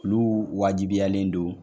Olu wajibiyalen don.